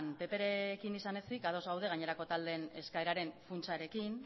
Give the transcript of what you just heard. pprekin izan ezik ados gaude gainerako taldeen eskaeraren funtsarekin